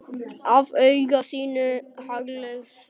Af auga þínu haglið hrýtur.